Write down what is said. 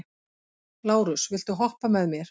Lárus, viltu hoppa með mér?